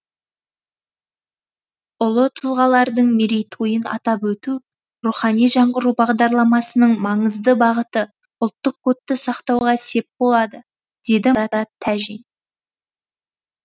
ұлы тұлғалардың мерейтойын атап өту рухани жаңғыру бағдарламасының маңызды бағыты ұлттық кодты сақтауға сеп болады деді марат тәжин